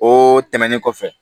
O tɛmɛnen kɔfɛ